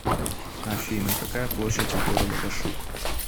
афина какая площадь у города вашук